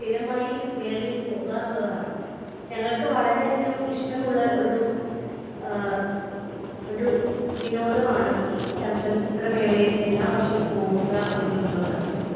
Speaker 1 സ്ഥിരമായി മേളയിൽ പോകാറുള്ളതാണ് . ഞങ്ങൾക്ക് വളരെ അധികം ഇഷ്ടമുള്ള ഒരു ഒരു വിനോദമാണ് ഈ ചലച്ചിത്ര മേളയിൽ എല്ലാ വർഷവും പോകുക എന്നുള്ളത് .